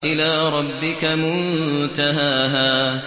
إِلَىٰ رَبِّكَ مُنتَهَاهَا